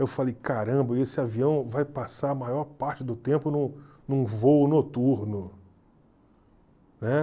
Eu falei, caramba, e esse avião vai passar a maior parte do tempo num num voo noturno, né?